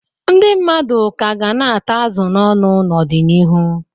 Ndị mmadụ ka ga na-ata azụ n'ọnụ n'ọdịnihu.